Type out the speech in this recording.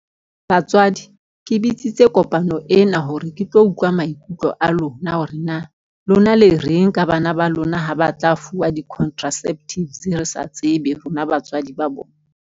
Batswadi ke bitsitse kopano ena hore ke tlo utlwa maikutlo a lona hore na, lona le reng ka bana ba lona ha ba tla fuwa di-contraceptives. Re sa tsebe rona batswadi ba bona.